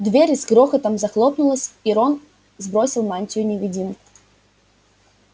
дверь с грохотом захлопнулась и рон сбросил мантию-невидимку